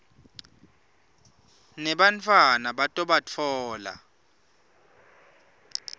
nebantfwana bato batfola